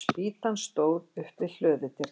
Spýtan stóð upp við hlöðudyrnar.